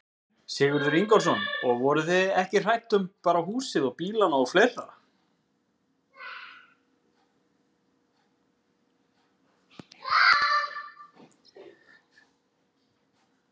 Sigurður Ingólfsson: Og voruð þið ekki hrædd um bara húsið og bílana og fleira?